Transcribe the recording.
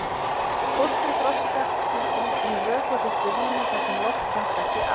Fóstrið þroskast því inni í vökvafylltu rými þar sem loft kemst ekki að.